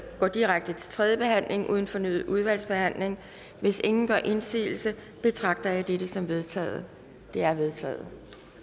går direkte til tredje behandling uden fornyet udvalgsbehandling hvis ingen gør indsigelse betragter jeg dette som vedtaget det er vedtaget